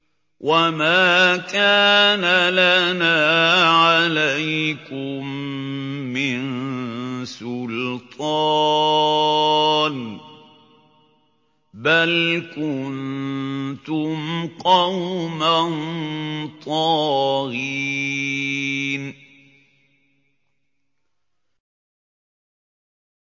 وَمَا كَانَ لَنَا عَلَيْكُم مِّن سُلْطَانٍ ۖ بَلْ كُنتُمْ قَوْمًا طَاغِينَ